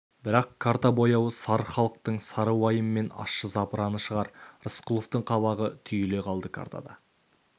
бірақ карта бояуы сары халықтың сары уайым мен ащы запыраны шығар рысқұловтың қабағы түйіле қалды картада